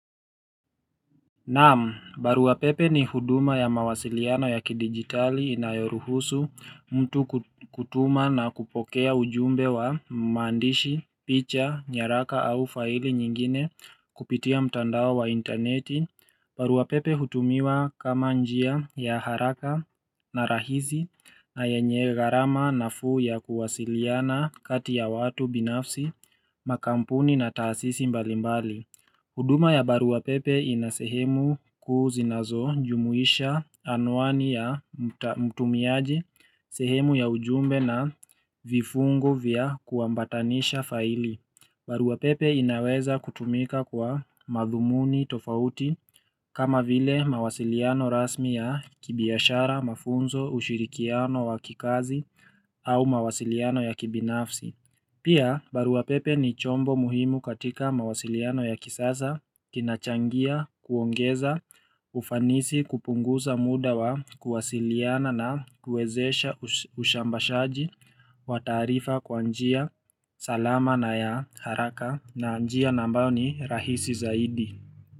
Naam, baruapepe ni huduma ya mawasiliano ya kidigitali inayoruhusu mtu kutuma na kupokea ujumbe wa maandishi, picha, nyaraka au faili nyingine kupitia mtandao wa internet. Baruapepe hutumiwa kama njia ya haraka na rahisi na yenye garama na fuu ya kuwasiliana kati ya watu binafsi, makampuni na taasisi mbalimbali. Huduma ya baruapepe inasehemu kuu zinazo njumuisha anwani ya mta mtumiaji, sehemu ya ujumbe na vifungu vya kuambatanisha faili. Baruapepe inaweza kutumika kwa madhumuni tofauti kama vile mawasiliano rasmi ya kibiashara, mafunzo, ushirikiano, wakikazi au mawasiliano ya kibinafsi. Pia baruapepe ni chombo muhimu katika mawasiliano ya kisasa, kinachangia, kuongeza, ufanisi kupunguza mudawa, kuwasiliana na kwezesha ushambashaji, watarifa kwa njia, huduma ya baruapepe inasehemu kuu zinazo njumuisha anwani ya mta mtumiaji, sehemu ya ujumbe na vifungu vya kuambatanisha faili.